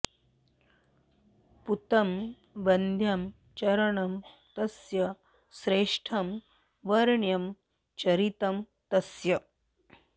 पूतं वन्द्यं चरणं तस्य श्रेष्ठं वर्ण्यं चरितं तस्य